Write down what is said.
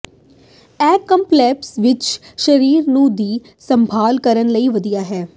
ਇਹ ਕੰਪਲੈਕਸ ਵਿਚ ਸਰੀਰ ਨੂੰ ਦੀ ਸੰਭਾਲ ਕਰਨ ਲਈ ਵਧੀਆ ਹੈ